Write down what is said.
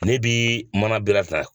Ne bi mana